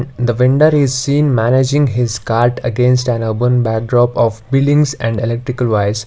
the vendor is seen managing his cart against an urban backdrop of buildings and electrical wires.